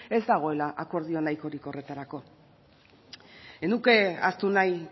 ez dagoela akordio nahikorik horretarako ez nuke ahaztu nahi